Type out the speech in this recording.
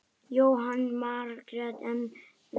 Jóhanna Margrét: En þið?